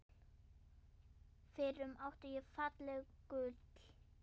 FYRRUM ÁTTI ÉG FALLEG GULL